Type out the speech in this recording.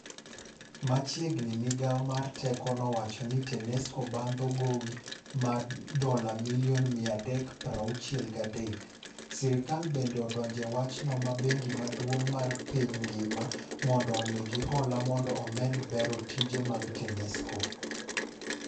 Machiegni migao mar teko nowacho ni Tanesco bandho gowimar dola milioni 363, sirkal bende odonje ewachno ma bengi maduong' mar piny ngima mondo omigi hola mondo omed bero tije mag Tanesco.